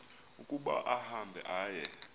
ukuba ahambe aye